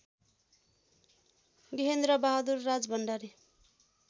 Gehendrabahadur Rajbhandari